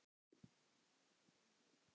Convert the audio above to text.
fnæsti hún.